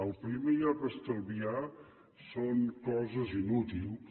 el primer lloc a estalviar són coses inútils